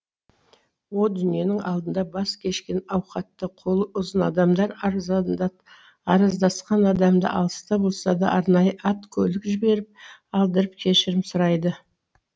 о дүниенің алдында бас кешкен ауқатты қолы ұзын адамдар араздасқан адамы алыста болса да арнайы ат көлік жіберіп алдырып кешірім сұрайды